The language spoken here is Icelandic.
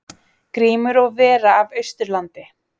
Grímur og vera af Austurlandi.